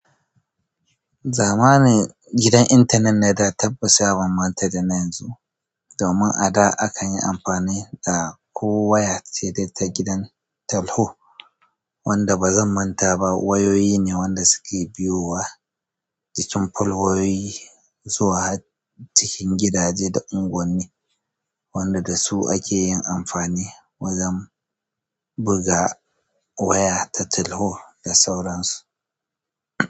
Zamanin gidan intanet na da tabbassa ya ban banta da na yanzu. Domin a da akan yi amfani da ko waya ce ta gidan talho wanda bazan mantaba wayoyi ne wanda suke biyowa jikin falwayoyi su zo har cikin gidaje da unguwanni wanda dasu ake yin amfani wajan buga waya ta talho da sauran su.